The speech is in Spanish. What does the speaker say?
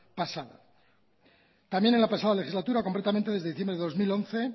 pasada también en la pasada legislatura concretamente desde diciembre de dos mil once